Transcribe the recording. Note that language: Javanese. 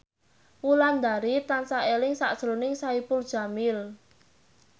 Wulandari tansah eling sakjroning Saipul Jamil